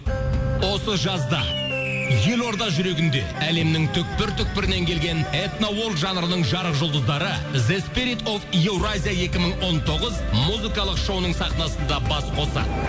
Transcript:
осы жазда елорда жүрегінде әлемнің түпкір түпкірінен келген жанрының жарық жұлдыздары евразия екі мың он тоғыз музыкалық шоуының сахнасында бас қосады